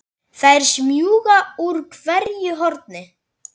Þær smjúga úr hverju horni.